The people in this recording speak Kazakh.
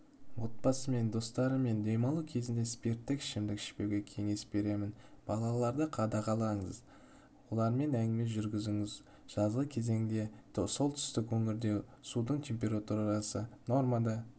отбасымен достарымен демалу кезінде спирттік ішімдік ішпеуге кеңес беремін балаларды қадағалаңыз олармен әңгіме жүргізіңіз жазғы кезеңде солтүстік өңірде судың температурасы нормада